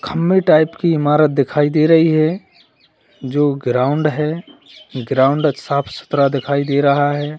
खंभे टाइप की इमारत दिखाई दे रही है जो ग्राउंड है ग्राउंड साफ सुथरा दिखाई दे रहा है।